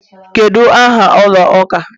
what the name of your church?